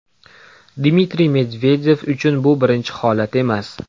Dmitriy Medvedev uchun bu birinchi holat emas.